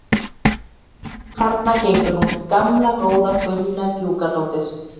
Þarna gengur hún, gamla góða Gunna Gjúkadóttir.